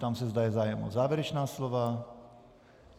Ptám se, zda je zájem o závěrečná slova.